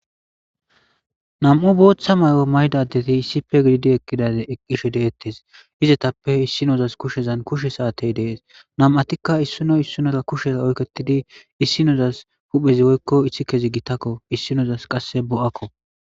Nam'u bootha mayo mayida adeti issippe gidid equshe de'etes, izappe issinozas kushezan kushe saatey de'es. Nam'atika issino isdinora kushe oyketidi issinozas huphezi woyko isikezi gitako issinezasi qase bo'ako.